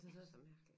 Det er så mærkeligt